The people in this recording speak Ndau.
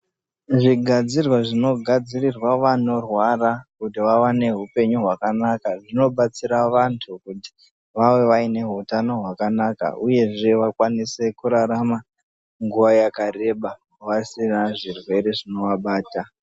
Zvigadzirwa zvinogadzirirwa vanorwara kuti vave neupenyu hwakanaka zvinobatsira vantu kuti vave vaine hutano hwakanaka. uyezve vakwanise kurarama nguva yakareba vasina zvirwere zvinovabata.